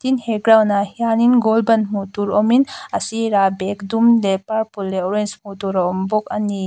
he ground ah hianin goal ban hmuh tur awmin a sirah bag dum leh purple leh orange hmuh tur a awm bawk a ni.